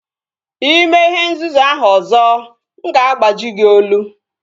Ị mee ihe nzuzu ahụ ọzọ nga agbaji gị olu